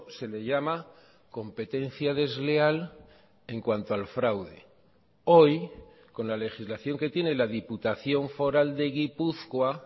se le llama competencia desleal en cuanto al fraude hoy con la legislación que tiene la diputación foral de gipuzkoa